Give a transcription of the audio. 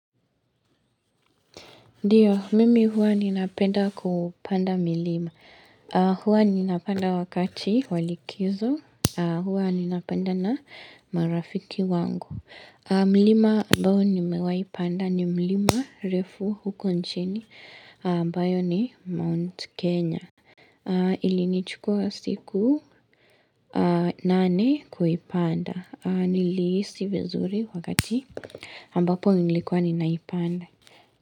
Ndio, mimi huwa ninapenda kupanda milima. Huwa ninapanda wakati wa likizo. Huwa ninapanda na marafiki wangu. Milima ambayo nimewahi panda ni mlima refu huko nchini. Ambayo ni Mount Kenya. Ilinichukua siku nane kuipanda. Nilihisi vizuri wakati ambapo nilikuwa ninaipanda.